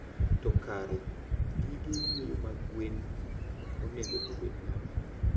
To kare gige yweyo mag gwen onego obed nade?